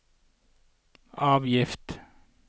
avgift